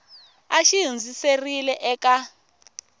a xi hundziserile eka n